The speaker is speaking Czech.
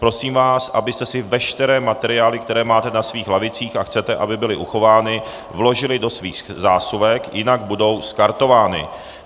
Prosím vás, abyste si veškeré materiály, které máte na svých lavicích a chcete, aby byly uchovány, vložili do svých zásuvek, jinak budou skartovány.